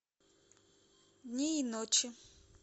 дни и ночи